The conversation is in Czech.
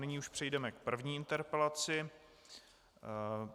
Nyní už přejdeme k první interpelaci.